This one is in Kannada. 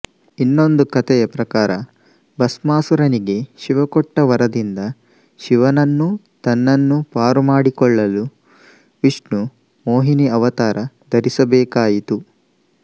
ಇನ್ನೊಂದು ಕಥೆಯ ಪ್ರಕಾರ ಭಸ್ಮಾಸುರನಿಗೆ ಶಿವಕೊಟ್ಟ ವರದಿಂದ ಶಿವನನ್ನೂ ತನ್ನನ್ನೂ ಪಾರುಮಾಡಿಕೊಳ್ಳಲು ವಿಷ್ಣು ಮೋಹಿನಿ ಅವತಾರ ಧರಿಸಬೇಕಾಯಿತು